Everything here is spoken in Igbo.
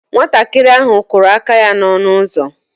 Nwatakịrị ahụ kụrụ aka ya n'ọnụ ụzọ